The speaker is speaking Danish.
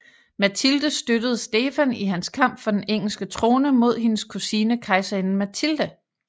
Matilde støttede Stefan i hans kamp for den engelske trone mod hendes kusine kejserinde Matilde